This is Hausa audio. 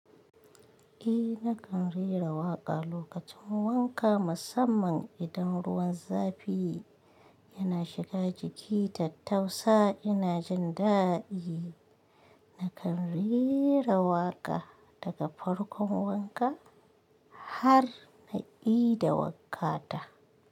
Eh, na kan rera waƙa lokacin wanka musamman idan ruwan zafi yana shiga jiki tattausa ina jin daɗi. Na kan rera waƙa daga farkon wanka har na i da wakka ta.